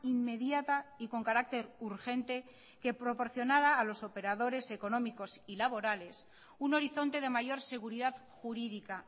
inmediata y con carácter urgente que proporcionara a los operadores económicos y laborales un horizonte de mayor seguridad jurídica